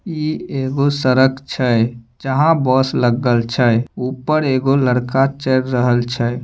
ई एगो सड़क छै जहां बस लगल छै ऊपर एगो लड़का चढ़ रहल छै।